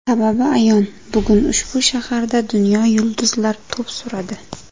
Sababi ayon, bugun ushbu shaharda dunyo yulduzlar to‘p suradi.